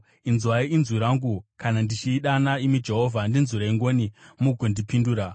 Inzwai inzwi rangu kana ndichidana, imi Jehovha; ndinzwirei ngoni mugondipindura.